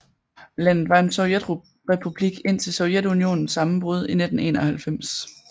Landet var en sovjetrepublik indtil Sovjetunionens sammenbrud i 1991